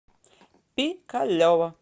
пикалево